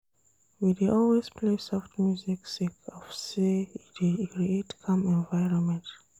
We dey always play soft music sake of sey e dey create calm environment.